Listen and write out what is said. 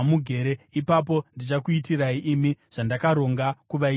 Ipapo ndichakuitirai imi zvandakaronga kuvaitira ivo.’ ”